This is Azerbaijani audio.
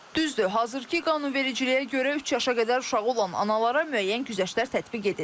Düzdür, hazırkı qanunvericiliyə görə üç yaşına qədər uşağı olan analara müəyyən güzəştlər tətbiq edilir.